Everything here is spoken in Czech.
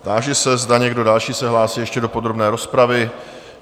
Táži se, zda někdo další se hlásí ještě do podrobné rozpravy?